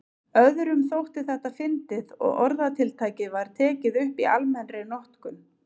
Öðrum þótti þetta fyndið og orðatiltækið var tekið upp í almennri notkun.